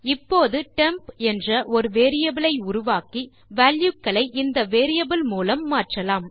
இப்போது டெம்ப் என்ற ஒரு வேரியபிள் ஐ உருவாக்கி வால்யூ களை இந்த வேரியபிள் மூலம் மாற்றலாம்